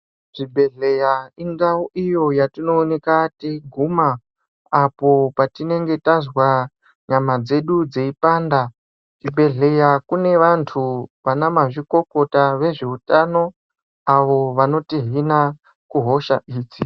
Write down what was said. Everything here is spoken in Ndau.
Zvibhedlera indau iyo yatinowonekatiyiguma apo patinenge tazwa nyama dzedu dziyipanda. Zvibhedlera kune vantu ,vanamazvikokota vezvehutano avo vanotihina kuhosha idzi.